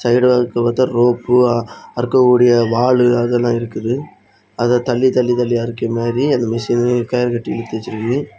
Side வாக்ல பாத்தா rope அருக்கக்கூடிய வாலு அதெல்லா இருக்குது. அத தல்லி தல்லி தலியா அறிக்கா மாறி அந்த மிஷின கயிர்கடி எழுத்துவேச்சிற்கு.